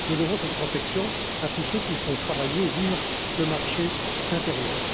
Nous devons cette protection à tous ceux qui font travailler et vivre le marché intérieur.